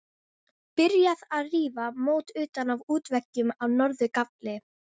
Byrjað að rífa mót utan af útveggjum á norður gafli.